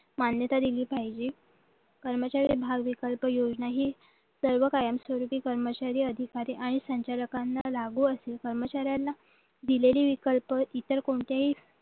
मान्यता दिली पाहिजे कर्मचारी भाव विकल्प योजना ही सर्व कायम स्वरूपी कर्मचारी अधिकारी आणि संचालकांना लागू असून कर्मचाऱ्यांना दिलेली विकल्प इतर कोणत्याही